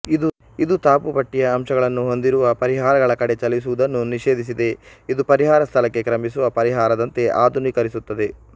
ಇದು ತಬು ಪಟ್ಟಿಯ ಅಂಶಗಳನ್ನು ಹೊಂದಿರುವ ಪರಿಹಾರಗಳ ಕಡೆ ಚಲಿಸುವುದನ್ನು ನಿಷೇಧಿಸಿದೆ ಇದು ಪರಿಹಾರ ಸ್ಥಳಕ್ಕೆ ಕ್ರಮಿಸುವ ಪರಿಹಾರದಂತೆ ಆಧುನೀಕರಿಸುತ್ತದೆ